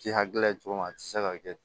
Ti hakilila ye cogo min na a ti se ka kɛ